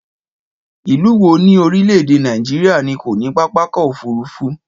Ìlú wo ni orílẹ̀-èdè Nàìjíríà ni kò ní pápákọ̀ òfúrufú?